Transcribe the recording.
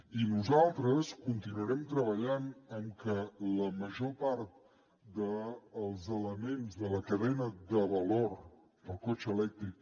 i nosaltres continuarem treballant en que la major part dels elements de la cadena de valor del cotxe elèctric